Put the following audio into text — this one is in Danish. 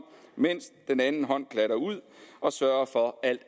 mens den anden hånd glattede ud og sørgede for at